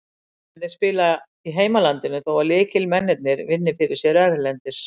Flestir leikmennirnir spila í heimalandinu þó að lykilmennirnir vinni fyrir sér erlendis.